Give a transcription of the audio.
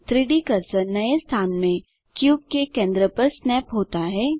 3डी कर्सर नए स्थान में क्यूब के केंद्र पर स्नैप होता है